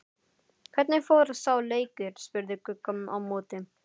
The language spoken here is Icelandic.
Hvernig fór sá leikur? spurði Gugga á móti.